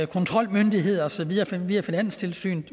kontrolmyndigheder og så videre via finanstilsynet